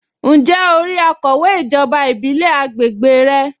Ǹjẹ́ o rí akọ̀wé ijoba ìbílẹ̀ àgbègbè rẹ?